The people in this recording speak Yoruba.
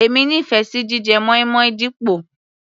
Èmi nífẹ̀ẹ́ sí jíjẹ moin-moin dípò.